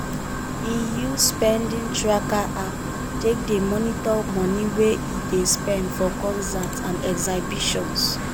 e use spending tracker app take dey monitor money wey e dey spend for concerts and exhibitions.